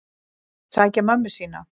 Sækja mömmu sína.